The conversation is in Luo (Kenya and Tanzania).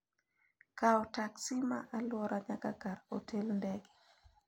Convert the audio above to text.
kawo teksi ma alwora nyaka kar otel ndege